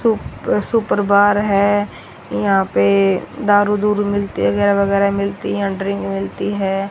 सु अह super bar है यहां पे दारू दूरू मिलती है अगैर वगैरह मिलती हैं यहां ड्रिंक मिलती है।